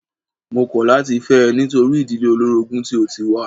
Mó kọ̀ láti fẹ́ ẹ nítorí ìdílé olórogún tí o tí wá.